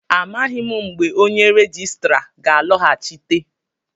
Amaghị m mgbe onye rejistra ga-alọghachite